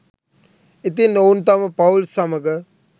ඉතින් ඔවුන් තම පවුල් සමඟ